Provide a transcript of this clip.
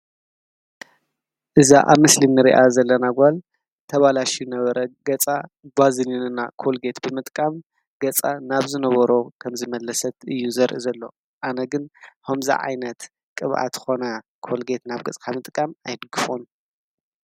እዛ አብ ምስሊ እንሪኣ ዘለና ጓል ተባላሽዩ ዝነበረ ገፃ ባዝሊን እና ኮሊጐት ብምጥቃም ገፃ ናብ ዝነበሮ ከም ዝመለሰት እዩ ዘርኢ ዘሎ። አነ ግን ኸምዚ ዓይነት ቅብኣት ኾነ ኮሊጌት ናብ ገፅካ ምጥቃም አይድግፎን።